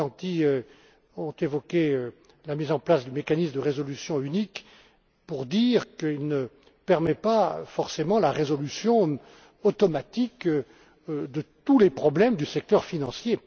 et M. Morganti ont évoqué la mise en place du mécanisme de résolution unique pour dire qu'il ne permet pas forcément la résolution automatique de tous les problèmes du secteur financier.